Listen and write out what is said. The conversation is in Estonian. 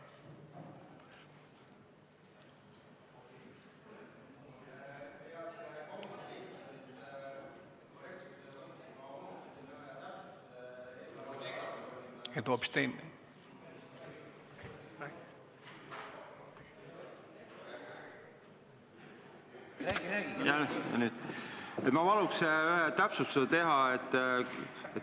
Ma soovin teha ühe täpsustuse.